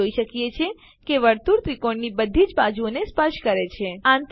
આપણે જોઈએ છીએ કે વર્તુળ ત્રિકોણની બધી જ બાજુઓને સ્પર્શ કરે છે